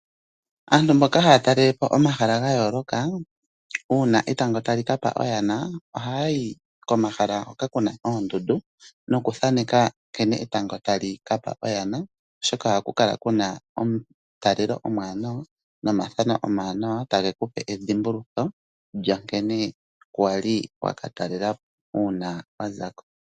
Aantu mboka haya talelepo omahala ga yooloka uuna etango tali kapa oyana ohaya yi komahala hoka kuna oondundu nokuthaneka nkene etango tali kapa oyana. Oshoka ohaku kala kuna omutalelo omuwanawa nomathano omawanawa tage kupe edhimbulutho lyankene waliko uuna wazako.